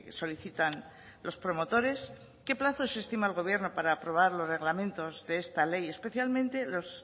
solicitan los promotores qué plazos estima el gobierno para aprobar los reglamentos de esta ley especialmente los